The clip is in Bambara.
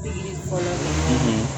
fɔlɔ